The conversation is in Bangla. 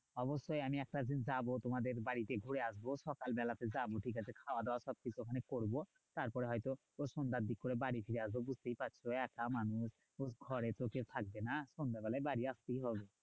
অবশ্যই আমি একটা দিন যাবো তোমাদের বাড়িতে ঘুরে আসবো। সকালবেলাতে যাবো ঠিকাছে খাওয়াদাওয়া সবকিছু ওখানেই করবো। তারপরে হয়তো ওই সন্ধ্যার দিক করে বাড়ি ফিরে আসবো, বুঝতেই পারছো একা মানুষ। তো ঘরে তো কেউ থাকবে না সন্ধাবেলায় বাড়ি আসতেই হবে।